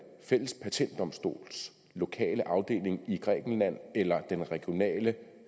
fælles patentdomstols lokale afdeling i grækenland eller den regionale